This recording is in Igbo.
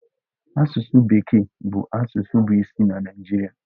Asụsụ bekee bụ asụsụ bụ isi na Naịjirịa.